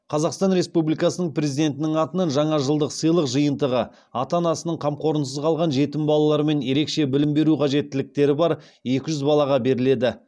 қазақстан республикасының президентінің атынан жаңа жылдық сыйлық жиынтығы ата анасының қамқорлығынсыз қалған жетім балалар мен ерекше білім беру қажеттіліктері бар екі жүз балаға беріледі